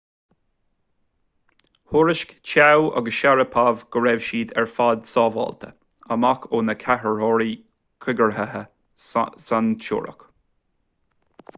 thuairisc chiao agus sharipov go raibh siad ar fhad sábháilte amach ó na ceartaitheoirí coigeartaithe sainstiúrach